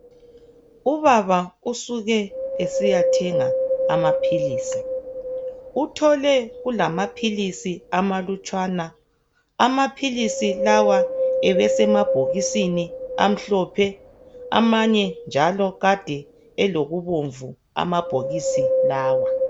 Ubaba usuke esiyathenga amaphilisi uthole kulamaphilisi amalutshwana amaphilisi lawa ebese emabhokisini amhlophe amanye njalo kade elokubomvu amabhokisi lawa .